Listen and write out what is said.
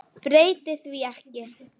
Breyti því ekki.